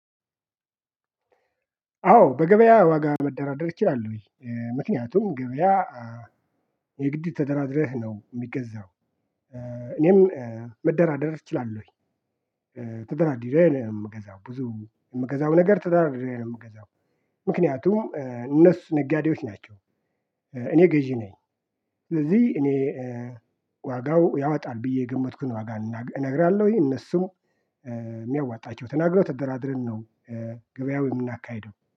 አዎ በገበያ ዋጋ መደራደር እችላለሁኝ። ምክንያቱም ገበያ የግድ ተደራድረህ ነው የሚገዛው። እኔም መደራደር እችላለሁኝ። ተደራድሬ ነው የምገዛው ብዙ የምገዛው ነገር ተደራድሬ ነው የምገዛው። ምክንያቱም እነሱ ነጋዴዎች ናቸው እኔ ገዢ ነኝ። ስለዚህ እኔ ዋጋው ያወጣል ብዬ የገመትኩን ዋጋ እነግራለሁኝ እነሱም የሚያዋጣቸው ተናግረው ተደራድረን ነው ገበያው የምናካሂደው